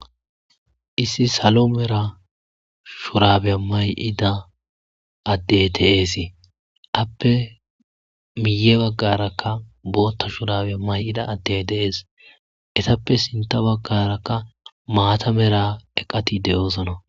Issi salo mera shurabe mayida addey teeesii appe miye baggarakka bootta shurabe mayida addey dees etappe sinta baggarakka maata mera eqati de'oosana